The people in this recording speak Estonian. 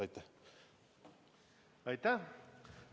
Aitäh!